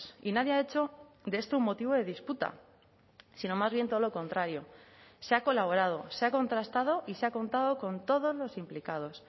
y nadie ha hecho de esto un motivo de disputa sino más bien todo lo contrario se ha colaborado se ha contrastado y se ha contado con todos los implicados